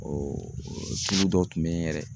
tulu dɔw tun bɛ yen yɛrɛ.